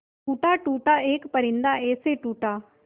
टूटा टूटा एक परिंदा ऐसे टूटा